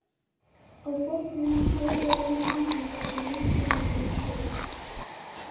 Á botninum flotaði undir hnullunga sem minntu hann á mannshöfuð.